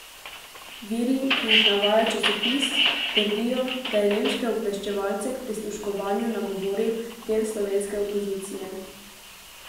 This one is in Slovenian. Viri, ki jih navaja časopis, trdijo, da je nemške obveščevalce k prisluškovanju nagovoril del slovenske opozicije.